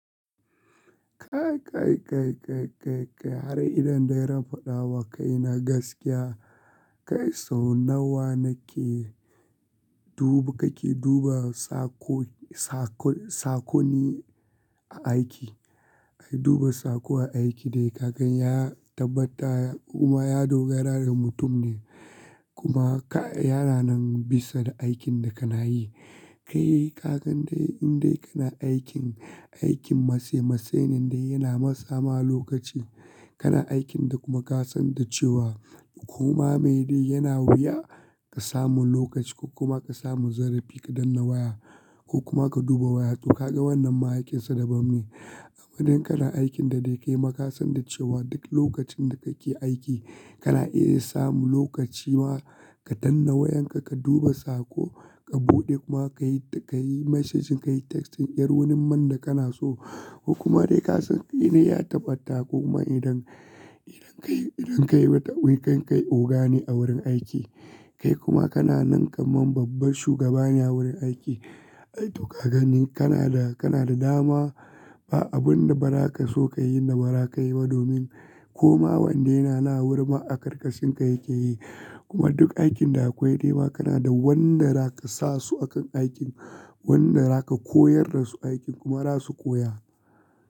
Kai, kai, kai, kai, kai, kai har idan dai nafadawa kai na gaskiya, kai sau nawa na ke duba, kake duba sakoni a aiki. Ai duba sako aiki dai kakan ya tabbata kuma ya dogara da mutum ne. Kuma ka yana nan bisa da aikin da kana yi. Kai kagan dai in dai kana aikin, aikin mase mase ne dai yana matsama lokaci. Kana aikin da kuma ka san da cewa kuma mai dai yana wuya ka samu lokaci ko kuma ka samu zarafi ka danna waya ko kuma ka duba waya. To ka ga wannan ma aikinsa daban ne. Amma idan kana aikin da dai kai ma ka san da cewa duk lokacin da kake aiki kana iya samun lokaci ma ka dannawa wayanka, ka duba sako, ka buɗe kuma ka yi, ka yi message, ka yi texting, ƙyar wani man da kana so. Ko kuma dai ka san ina ya tabbata ko kuma idan, idan kai, idan kai bata wuya kai, kai oga ne a wurin aiki. Kai kuma kana nan kamar babban shugaba ne a wurin aiki. Ai to kagani kana da, kana da dama. Ba abin da ba za ka so ka yi da ba za ka yi ba domin kuma wanda yana na wurin ma a karkashinka yake yi. Kuma duk aikin da akwai dai ma kana da wanda za ka sa su akan aikin. Wanda za ka koyar da su aikin kuma za su koya.